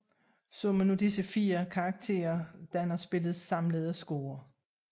Summen af disse fire karakterer danner spillets samlede score